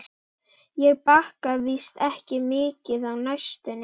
Ég baka víst ekki mikið á næstunni.